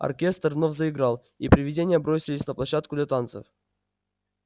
оркестр вновь заиграл и привидения бросились на площадку для танцев